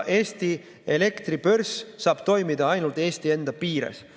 Eesti elektribörs saab toimida ainult Eesti enda piires.